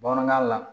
Bamanankan la